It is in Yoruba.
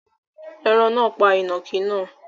Ẹ̀rín náà pa ìnàkí náà